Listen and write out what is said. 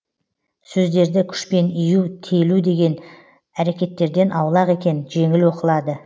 сөздерді күшпен иію телу деген әрекеттерден аулақ екен жеңіл оқылады